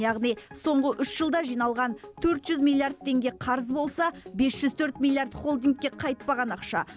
яғни соңғы үш жылда жиналған төрт жүз миллиард теңге қарыз болса бес жүз төрт миллиард холдингке қайтпаған ақша